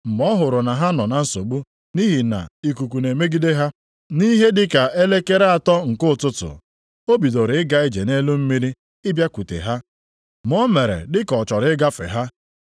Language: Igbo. Mgbe ọ hụrụ na ha nọ na nsogbu nʼihi na ikuku na-emegide ha, nʼihe dị ka elekere atọ nke ụtụtụ, o bidoro ịga ije nʼelu mmiri ịbịakwute ha, ma o mere dị ka ọ chọrọ ịgafe ha.